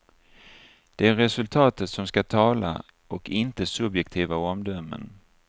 Det är resultatet som ska tala och inte subjektiva omdömen.